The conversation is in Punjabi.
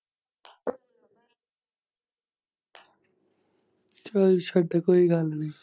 ਚੱਲ ਛੱਡ, ਕੋਈ ਗੱਲ ਨੀ।